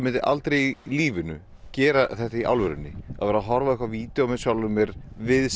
aldrei í lífinu gera þetta í alvörunni vera að horfa á eitthvað video af sjálfum mér við